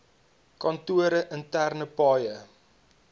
kantore interne paaie